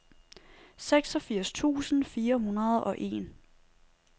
seksogfirs tusind fire hundrede og en